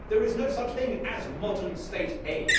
There is no such thing as modern state aid.